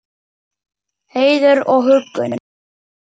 Heiður og huggun.